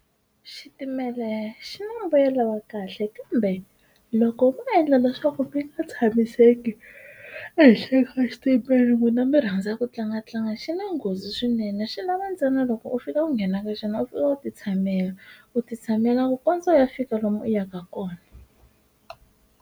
Xitimela xi na mbuyelo wa kahle kambe loko ma endla leswaku mi nga tshamiseki ehenhla eka xitimela n'wina mi rhandza ku tlanga tlanga xi na nghozi swinene xi lava ntsena loko u fika u nghena ka xona u fika u ti tshamela u ti tshamela ku kondza u ya fika lomu u yaka kona.